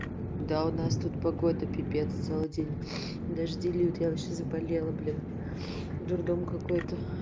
да у нас тут погода пипец целый день дожди льют я вообще заболела блин дурдом какой-то